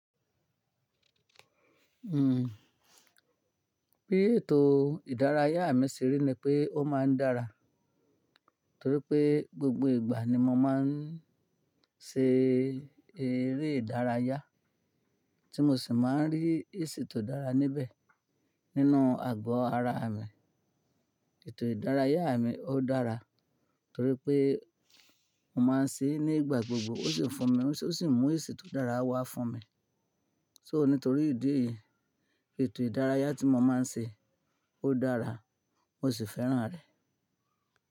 Hmm. Bí ètò ìdárayá mi ṣe rí ni pé ó máa ń dára, torí pé gbogbo ìgbà ni mo máa ń ṣe eré ìdárayá tí mo sì máa ń rí èsì tó dára níbẹ̀ nínú ago ara mi. Ètò ìdárayá mi ó dára torí pé mo máa ń ṣe é ní ìgbà gbogbo ó sì ń fún mi, ó sì mú èsì tó dára wá fún mi. So nítorí ìdí èyí, ètò ìdárayá tí mo máa ń ṣe ó dára, mo sì fẹ́ràn rẹ̀.